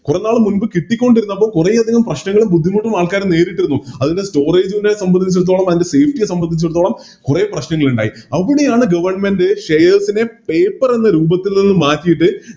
കുറെ നാള് മുമ്പ് കിട്ടിക്കൊണ്ടിരുന്നത് അപ്പൊ കൊറേയധികം ബുദ്ധിമുട്ടുകളും പ്രശ്നങ്ങളും ആള്ക്കാര് നേരിട്ടിരുന്നു അതിൻറെ Storage നെ സംബന്ധിച്ചെടുത്തോളം അതിൻറെ Safety യെ സംബന്ധിച്ചെടുത്തോളം കുറെ പ്രശ്നങ്ങളിണ്ടായി അവിടെയാണ് Government shares നെ Paper എന്ന രൂപത്തിൽ നിന്നും മാറ്റിയിട്ട്